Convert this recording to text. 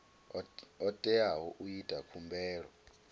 o teaho u ita khumbelo